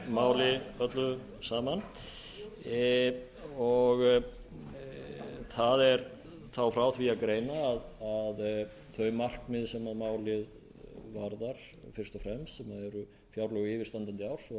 þessu máli öllu saman það er þá frá því að greina að þau markmið sem málið varðar fyrst og fremst sem eru fjárlög yfirstandandi árs og að vinna að þeim vanda sem við blasir nú þau